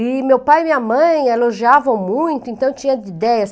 E meu pai e minha mãe elogiavam muito, então eu tinha ideias.